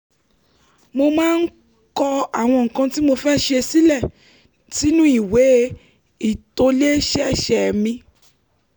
mo máa ń kọ àwọn nǹkan tí mo fẹ́ ṣe sínú ìwé ìtòlẹ́sẹẹsẹ mi